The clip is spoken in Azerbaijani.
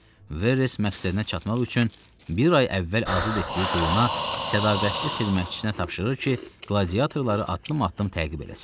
Verres məqsədinə çatmaq üçün bir ay əvvəl azad etdiyi quluna sədaqətli xidmətçisinə tapşırır ki, qladiyatorları addım-addım təqib eləsin.